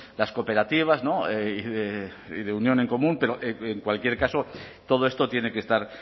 las cooperativas y de unión en común pero en cualquier caso todo esto tiene que estar